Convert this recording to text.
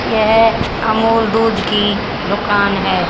यह अमूल दूध की दुकान है।